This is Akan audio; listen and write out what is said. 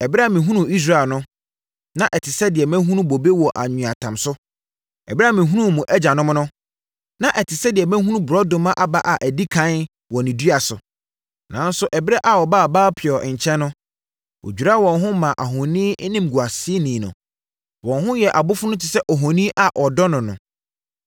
“Ɛberɛ a mehunuu Israel no, na ɛte sɛ deɛ mahunu bobe wɔ anweatam so; ɛberɛ a mehunuu mo agyanom no, na ɛte sɛ deɛ mahunu borɔdɔma aba a ɛdi ɛkan wɔ ne dua so. Nanso ɛberɛ a wɔbaa Baal-peor nkyɛn no wɔdwiraa wɔn ho maa ohoni nimguaseni no. Wɔn ho yɛɛ abofono te sɛ ohoni a wɔdɔ no no.